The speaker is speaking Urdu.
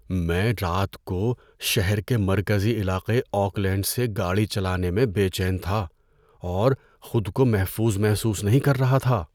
میں رات کو شہر کے مرکزی علاقہ آکلینڈ سے گاڑی چلانے میں بے چین تھا اور خود کو محفوظ محسوس نہیں کر رہا تھا۔